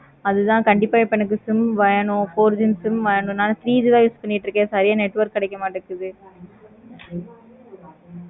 அது தன கண்டிப்பா எனக்கு sim வேணும் four G sim வாங்கணும். three G தான் use பண்ணிக்கிட்டு இருக்கேன். network கிடைக்க மாடிக்கு.